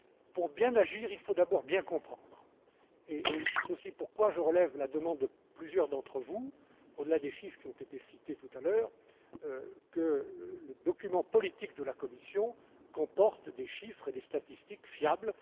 Pour bien agir, il faut d'abord bien comprendre, et c'est aussi pourquoi je relève la demande de plusieurs d'entre vous, au delà des chiffres qui ont été cités tout à l'heure, pour que le document politique de la Commission comporte des chiffres et des statistiques fiables.